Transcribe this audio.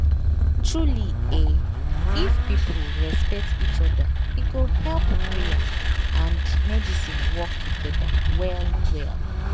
truely eeh if people respect each oda e go help prayer and medicine work togeda well well.